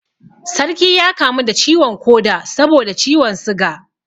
Sarki ya kamu da ciwon koda saboda ciwon suga